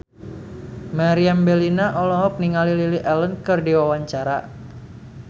Meriam Bellina olohok ningali Lily Allen keur diwawancara